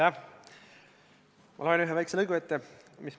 See ettepanek on leidnud heakskiidu ju ka ministeeriumides.